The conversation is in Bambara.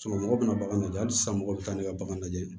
mɔgɔ bɛna bagan lajɛ hali sisan mɔgɔw bɛ taa ne ka bagan lajɛ